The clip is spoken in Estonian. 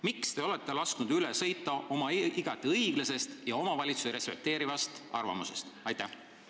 Miks te olete lasknud oma igati õiglasest ja omavalitsusi respekteerivast arvamusest üle sõita?